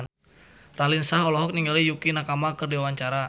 Raline Shah olohok ningali Yukie Nakama keur diwawancara